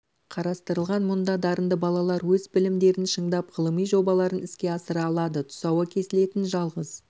қарастырылған мұнда дарынды балалар өз білімдерін шыңдап ғылыми жобаларын іске асыра алады тұсауы кесілетін жалғыз